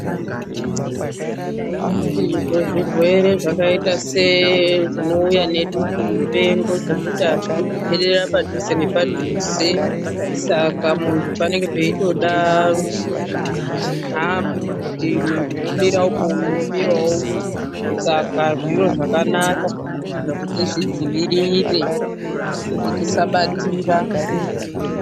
Izvo zvirwere zvakaita sezvinouya nedutu mupengo zvekuti azvidi kukwenzera padhuze nepadhuze saka muntu panenge peitode chinhambu kuti muntu womire uku umwe womire uku. Zviro zvakanaka kuti tizvidziirire kuti tisabatira.